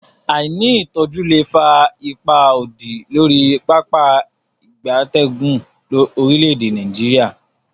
Aini itoju le fa ipa odi lori Pápá ìgbatẹ́gùn orile-ede Nigeria.